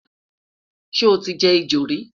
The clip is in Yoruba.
sho tí jẹ ẹjọ rí?